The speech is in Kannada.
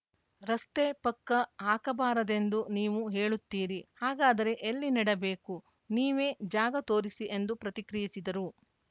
ರಸ್ತೆ ಪಕ್ಕ ಹಾಕಬಾರದೆಂದು ನೀವು ಹೇಳುತ್ತೀರಿ ಹಾಗಾದರೆ ಎಲ್ಲಿ ನೆಡಬೇಕು ನೀವೇ ಜಾಗ ತೋರಿಸಿ ಎಂದು ಪ್ರತಿಕ್ರಿಯಿಸಿದರು